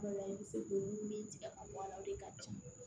i bɛ se k'olu min tigɛ ka bɔ a la o de ka ca